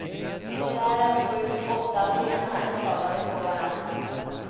Sådär en sju åtta stenar, travade på varandra.